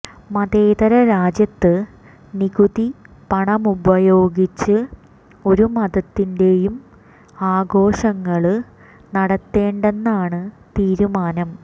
മതേതര രാജ്യത്ത് നികുതി പണമുപയോഗിച്ച് ഒരു മതത്തിന്റെയും ആഘോഷങ്ങള് നടത്തേണ്ടെന്നാണ് തീരുമാനം